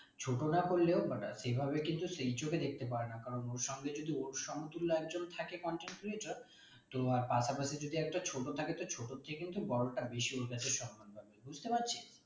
ছোট না করলেও সেইভাবে কিন্তু সেই চোখে দেখতে পারে না কারণ ওর সামনে যদি ওর সমতুল্য একজন থাকে content creator তো আর পাশাপাশি যদি একটা ছোট থাকে তো ছোটোর চেয়ে কিন্তু বড়োটা বেশি ওর কাছে সম্মান পাবে বুঝতে পারছিস?